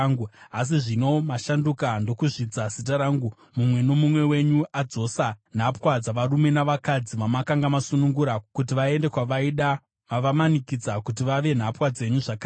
Asi zvino mashanduka ndokuzvidza zita rangu; mumwe nomumwe wenyu adzosa nhapwa dzavarume navakadzi vamakanga masunungura kuti vaende kwavaida. Mavamanikidza kuti vave nhapwa dzenyu zvakare.